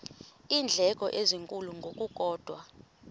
iindleko ezinkulu ngokukodwa